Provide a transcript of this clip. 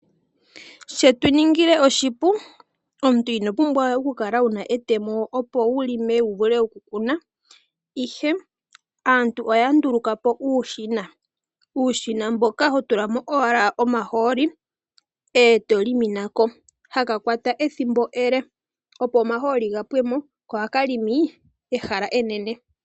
Shetu ningile oshipu! Omuntu ino pumbwa we oku kala we wuna etemo opo wu vule okulonga wu vule oku kuna, ihe aantu oya nduluka po uushina, uushina mboka ho tula mo owala omahooli eto longo nako, ha ka kwata ethimbo ele opo omahooli ga pwe mo ko oha ka longo ehala enene.